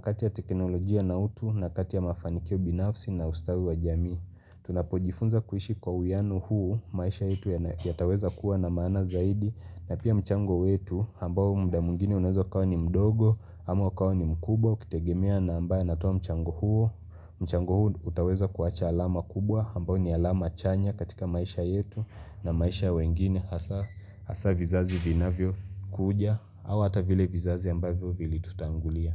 kati ya teknolojia na utu na kati ya mafanikio binafsi na ustawi wa jamii. Tunapojifunza kuishi kwa uwiano huu maisha yetu yataweza kuwa na maana zaidi na pia mchango yetu ambao mda mwingine unezo kawa ni mdogo ama ukawa ni mkubo ukitegemea na ambaye anatoa mchango huu mchango huu utaweza kuwacha alama kubwa ambao ni alama chanya katika maisha yetu na maisha wengine hasa vizazi vina vyo kuja Awa hata vile vizazi ambayo vilitutangulia.